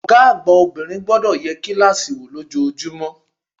Ògá àgbà obìnrin gbodò ye kílàsì wò lójojúmó